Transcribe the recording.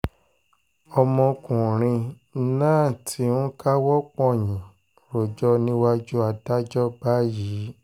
ọmọkùnrin ọmọkùnrin náà ti ń káwọ́ pọ̀nyìn rojọ́ níwájú adájọ́ báyìí